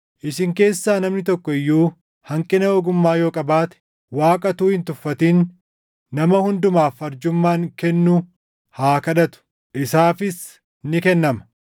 Isin keessaa namni tokko iyyuu hanqina ogummaa yoo qabaate, Waaqa utuu hin tuffatin nama hundumaaf arjummaan kennu haa kadhatu; isaafis ni kennama.